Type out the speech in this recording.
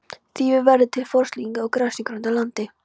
Þýfi verður til við frostlyftingu á grasigrónu landi.